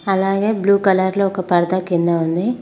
అలాగే blue colour లో ఒక పర్దా కింద ఉంది.